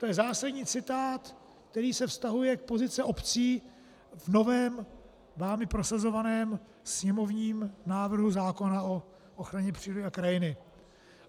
To je zásadní citát, který se vztahuje k pozici obcí v novém, vámi prosazovaném sněmovním návrhu zákona o ochraně přírody a krajiny.